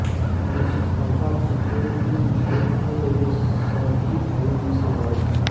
मुस्तफा जितोई तीन भाई थे वे सभी भाइयों में से बड़े थे